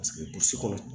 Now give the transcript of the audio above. Paseke burusi kɔnɔ